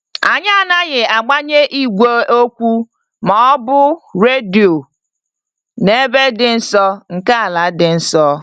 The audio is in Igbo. Anyị anaghị agbanye igwe okwu ma ọ bụ redio n'ebe dị nso nke ala dị nsọ.